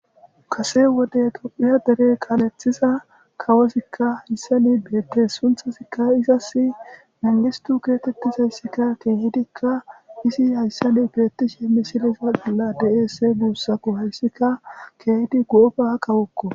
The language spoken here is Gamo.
Kasee wode toophphiya asa kaaleththida kawothikka issani beeththees; sunththathikka izassi mangisthu geetheththzeysikka keehizikka beeththishinne misile bolla de7ees; he buusakko hayssika keehidi gooba kawokko.